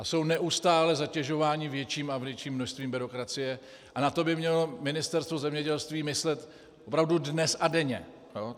A jsou neustále zatěžováni větším a větším množstvím byrokracie a na to by mělo Ministerstvo zemědělství myslet opravdu dnes a denně.